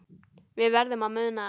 Við verðum að muna það.